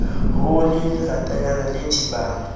ho le leratanyana le thibang